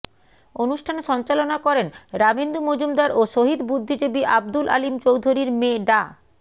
অনুষ্ঠান সঞ্চালনা করেন রামেন্দু মজুমদার ও শহীদ বুদ্ধিজীবী আবদুল আলীম চৌধুরীর মেয়ে ডা